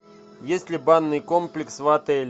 есть ли банный комплекс в отеле